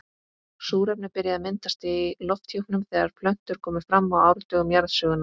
Súrefni byrjaði að myndast í lofthjúpnum þegar plöntur komu fram á árdögum jarðsögunnar.